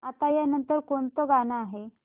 आता या नंतर कोणतं गाणं आहे